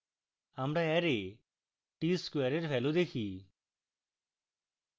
আমরা array tsquare we value দেখি